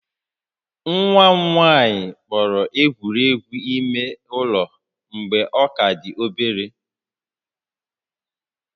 Nwa m nwanyị kpọrọ egwuregwu ime ụlọ mgbe ọ ka dị obere ásị̀